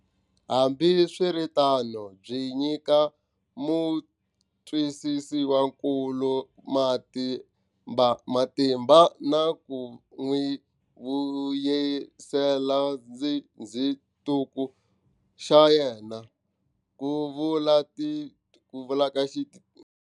Hambiswiritano byi nyika mutwisiwankulu matimba na ku n'wi vuyisela xindzhuti xa yena, ku vula.